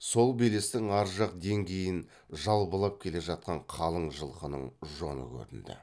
сол белестің ар жақ деңгейін жалбылап келе жатқан қалың жылқының жоны көрінді